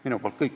Minu poolt kõik.